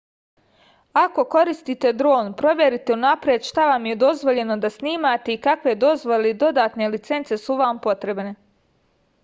ako koristite dron proverite unapred šta vam je dozvoljeno da snimate i kakve dozvole ili dodatne licence su vam potrebne